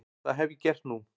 Það hef ég gert nú.